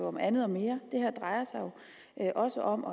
om andet og mere det her drejer sig jo også om